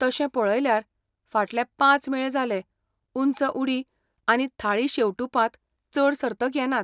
तशें पळयल्यार, फाटले पांच मेळ जाले ऊंच उडी आनी थाळी शेंवटुपांत चड सर्तक येनात.